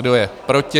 Kdo je proti?